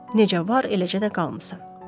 Necə var, eləcə də qalmısan.